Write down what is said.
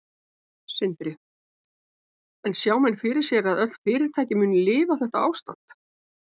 Sindri: En sjá menn fyrir sér að öll fyrirtæki muni lifa þetta ástand?